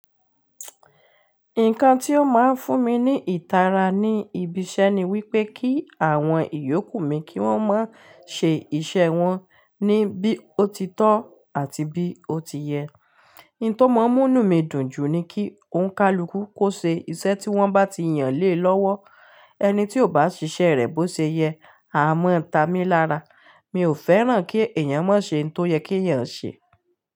Nǹkan tí ó máa ń fún mi ní ìtara ní ibi iṣẹ́ ni wípé kí àwọn ìyókù mi kí wọ́n máa ń ṣe iṣẹ́ wọn ní bí ó ti tọ́ àti bí ó ti yẹ. Nǹkan tó máa ń múnu mí dùn jù ni kí òǹkálukú kó ṣe iṣẹ́ tí wọ́n bá ti yàn lé lọ́wọ́. Ẹni tí ò bá ṣiṣẹ́ rẹ̀ bó ṣe yẹ, a máa ń ta mi lára. Mi ò fẹ́ràn kí èèyàn má ṣe nǹkan tó yẹ kí èèyàn ṣe.